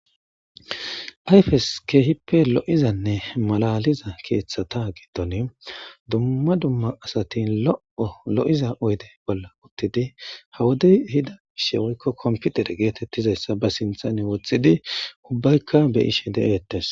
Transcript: ayfes keehippe lo7izanne malaliza keeththata gedoni dumma dumma asati lo7o lo7iza oyde bolla uttidi hawodey hida ishewoykko komputer geetettizayssa ba sinthane woxthxidi ubbaykka beyishe de7eettes